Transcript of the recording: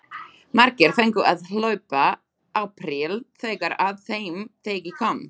Margir fengu að hlaupa apríl þegar að þeim degi kom.